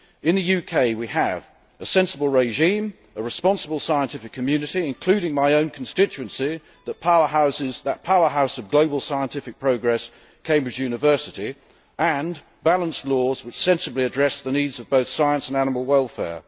In the UK, we have a sensible regime, a responsible scientific community including, in my own constituency, that powerhouse of global scientific progress, Cambridge University and balanced laws which sensibly address the needs of both science and animal welfare.